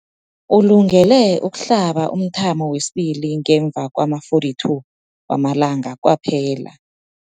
Ulungele ukuhlaba umthamo wesibili ngemva kwama-42 wamalanga kwaphela.